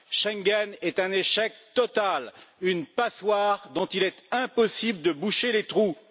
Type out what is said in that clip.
Schengen est un échec total, une passoire dont il est impossible de boucher les trous.